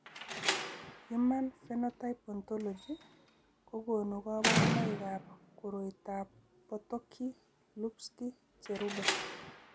Human Phenotype Ontology kokonu kabarunoikab koriotoab Potocki Lupski cherube.